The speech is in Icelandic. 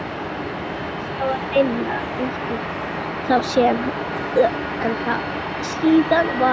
Og enska var minna útbreidd þá en síðar varð.